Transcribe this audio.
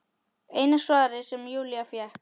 Eina svarið sem Júlía fékk.